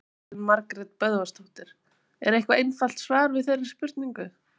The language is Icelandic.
Elín Margrét Böðvarsdóttir: Er eitthvað einfalt svar við þeirri spurningu?